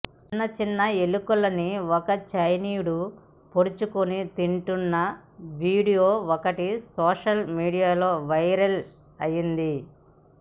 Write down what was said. చిన్న చిన్న ఎలుకల్ని ఓ చైనీయుడు పొడుచుకుని తింటున్న వీడియో ఒకటి సోషల్ మీడియాలో వైరల్ అయింది